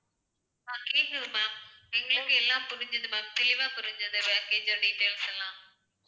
ஆஹ் கேக்குது ma'am எங்களுக்கு எல்லாம் புரிஞ்சுது ma'am தெளிவா புரிஞ்சுது package ஓட details எல்லாம்